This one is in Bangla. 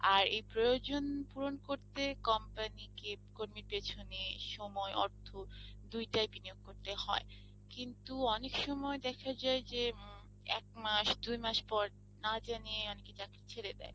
আর এই প্রয় জন পূরণ করতে company কে কর্মীর পেছনে সময় অর্থ দুইটাই বিনিয়োগ করতে হয়, কিন্তু অনেক সময় দেখা যায় যে একমাস দু মাস পর না জানিয়ে চাকরি ছেড়ে দেয়